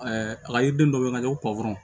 a ka yiriden dɔ bɛ ka ɲɛ ko patɔrɔn